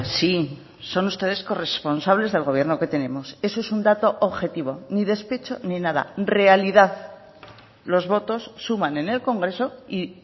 sí son ustedes corresponsables del gobierno que tenemos eso es un dato objetivo ni despecho ni nada realidad los votos suman en el congreso y